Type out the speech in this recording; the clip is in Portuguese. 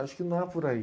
Acho que não é por aí.